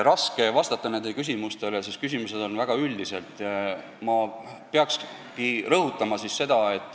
Raske on vastata nendele küsimustele, sest need on väga üldised.